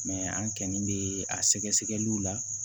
an kɔni bɛ a sɛgɛsɛgɛliw la